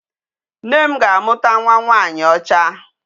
Nne m ga-amụta nwa nwanyị ọcha.